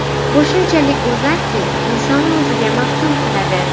Bu shunchalik go‘zalki, insonni o‘ziga maftun qiladi.